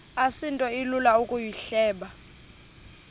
asinto ilula ukuyihleba